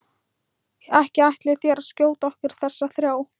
Ekki ætlið þér að skjóta okkur þessa þrjá?